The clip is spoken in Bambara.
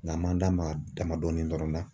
Nga an m'an da maga dama dɔɔnin dɔrɔn na.